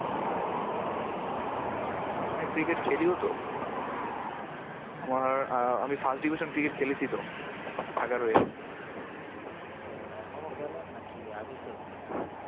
হ্যাঁ cricket খেলিও তো। আমার আঁ আহ আমি first division cricket খেলেছি তো, এগারোয়। ও আচ্ছা। এখনো খেলেন নাকি? আগে খেলতেন?